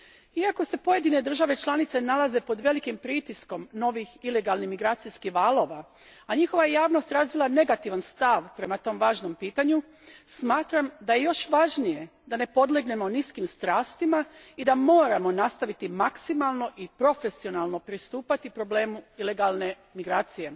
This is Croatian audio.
Iako se pojedine države članice nalaze pod velikim pritiskom novih ilegalnih imigracijskih valova, a njihova je javnost razvila negativan stav prema tom važnom pitanju, smatram da je još važnije da ne podlegnemo niskim strastima i da moramo nastaviti maksimalno i profesionalno pristupati problemu ilegalne migracije.